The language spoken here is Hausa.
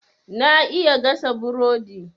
Na iya gasa burodi.